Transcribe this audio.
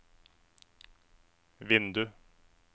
vindu